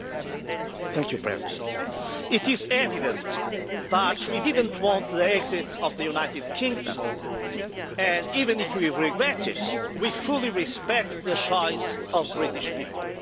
Madam President, it is evident that we didn't want the exit of the United Kingdom and, even if we regret it, we fully respect the choice of British people.